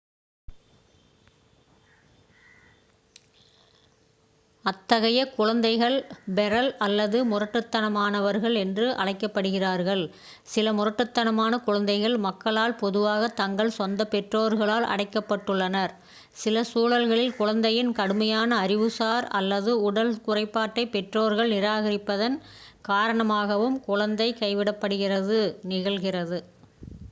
"அத்தகைய குழந்தைகள் "ஃபெரல்" அல்லது முரட்டுத்தனமானவர்கள் என்று அழைக்கப்படுகிறார்கள். சில முரட்டுத்தனமான குழந்தைகள் மக்களால் பொதுவாக தங்கள் சொந்த பெற்றோர்களால் அடைக்கப்பட்டுள்ளனர்; சில சூழல்களில் குழந்தையின் கடுமையான அறிவுசார் அல்லது உடல் குறைபாட்டைப் பெற்றோர்கள் நிராகரிப்பதன் காரணமாகவும் குழந்தை கைவிடப்படுவது நிகழ்கிறது.